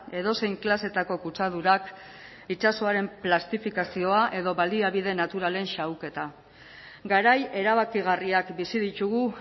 edozein klasetako kutsadurak itsasoaren plastifikazioa edo baliabide naturalen xahuketa garai erabakigarriak bizi ditugu